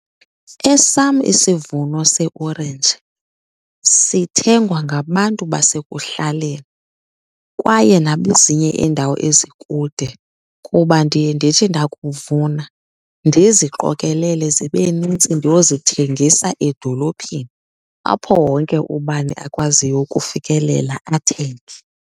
Esam isivuno seeorenji sithengwa ngabantu basekuhlaleni kwaye nabezinye iindawo ezikude kuba ndiye ndithi ndakuvuna ndiziqokelele zibe nintsi ndiyozithengisa edolophini, apho wonke ubani akwaziyo ukufikelela athenge.